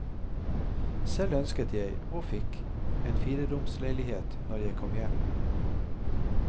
Selv ønsket jeg, og fikk, en fireromsleilighet når jeg kom hjem.